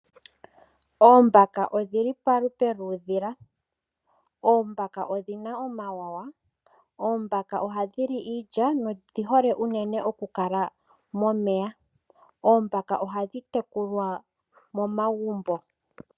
Oombaka odhili polupe luu dhila. Oombaka odhina omawuwanawa. Oombaka ohadhili iilya nodhi hole unene okukala momeya . Oombaka ohadhi tekukwa momagumbo